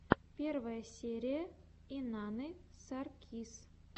первая серия инанны саркис